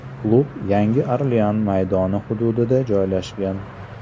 Klub Yangi Orlean maydoni hududida joylashgan.